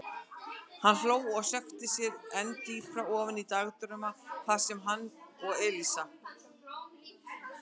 Hann hló og sökkti sér enn dýpra ofan í dagdrauma þar sem hann og Elísa.